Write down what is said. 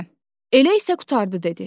Hə, elə isə qurtardı dedi.